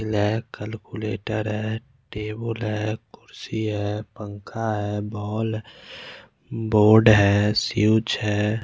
लै कैलकुलेटर है टेबुल है कुर्सी है पंखा है बॉल बोर्ड है सीयुच है।